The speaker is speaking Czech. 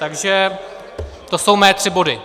Takže to jsou mé tři body.